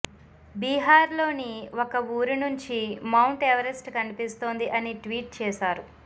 బీహార్ లోని ఒక ఊరి నుంచి మౌంట్ ఎవరెస్ట్ కనిపిస్తోంది అని ట్వీట్ చేశారు